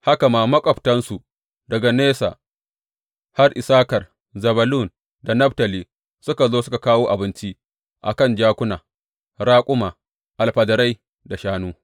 Haka ma, maƙwabtansu daga nesa har Issakar, Zebulun da Naftali suka zo suka kawo abinci a kan jakuna, raƙuma, alfadarai da shanu.